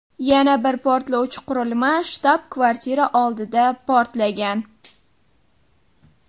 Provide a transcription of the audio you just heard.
Yana bir portlovchi qurilma shtab-kvartira oldida portlagan.